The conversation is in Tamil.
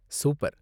சூப்பர்!